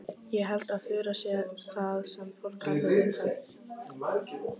Ég held að Þura sé það sem fólk kallar viðkvæm.